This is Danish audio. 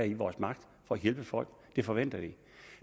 i vores magt for at hjælpe folk det forventer de